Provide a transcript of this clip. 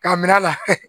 K'a minɛ a la